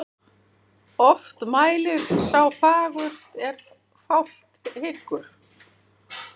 Oft mælir sá fagurt er flátt hyggur.